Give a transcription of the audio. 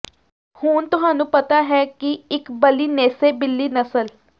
ਹੁਣ ਤੁਹਾਨੂੰ ਪਤਾ ਹੈ ਕਿ ਇਕ ਬਲਿਨੇਸੇ ਬਿੱਲੀ ਨਸਲ